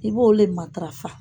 I b'o de matarafa